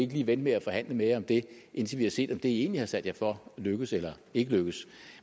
lige vente med at forhandle med jer om det indtil vi har set om det i egentlig har sat jer for lykkes eller ikke lykkes